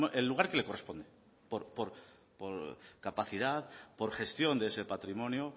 el lugar que le corresponde por capacidad por gestión de ese patrimonio